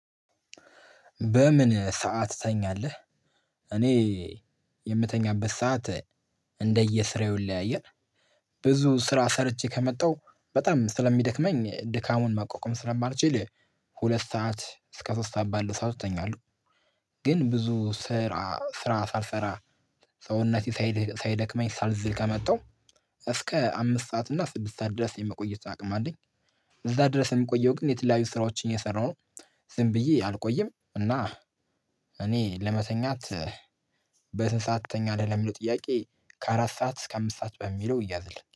በምን ሰዓት ተኛለህ? እኔ የምተኛበት ሰዓት እንደየስራው ይለያያል። ብዙ ስራ ሰርቼ ከመጣሁ በጣም ስለሚደክመኝ ድካሙን ማቆቅም ስለማልችል ሁለት ሰዓት እስከ ሶስት ሰዓት ባለ ሰዓት እተኛለሁ። ግን ብዙ ስራ ስራ ሳልሰራ ሰውነቴ ሳይደክመኝ ሳልዝል ከመጣው እስከ አምስት ሰዓት እና ስድስት ሰዓት ድረስ የመቆየት አቅም አለኝ። እዛ ድረስ የምቆየው ግን የተለያዩ ስራዎችን የሰራው ዝም ብዬ አልቆየም። እና እኔ ለመተኛት በስንት ሰዓት ትተኛለህ ለሚለው ጥያቄ ከአራት ሰዓት እስከ አምስት ሰዓት በሚለው እያዝልኝ